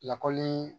Lakɔli